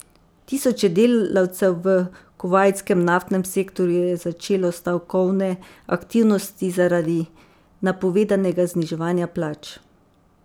Tisoče delavcev v kuvajtskem naftnem sektorju je začelo stavkovne aktivnosti zaradi napovedanega zniževanja plač.